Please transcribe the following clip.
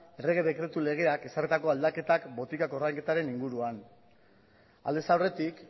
errege dekretu legeak ezarritako aldaketak botiken ordainketaren inguruan aldez aurretik